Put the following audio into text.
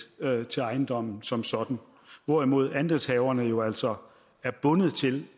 til ejendommen som sådan hvorimod andelshaverne jo altså er bundet til